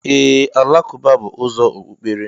Ee, alakụba bú ụzọ Okpụkpere.